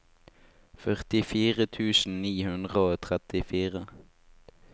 førtifire tusen ni hundre og trettifire